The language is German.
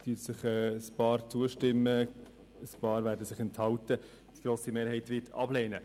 Einige werden zustimmen, einige werden sich enthalten, aber die grosse Mehrheit wird sie ablehnen.